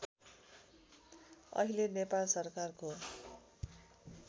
अहिले नेपाल सरकारको